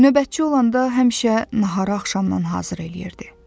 Növbətçi olanda həmişə nahara axşamdan hazır eləyirdi.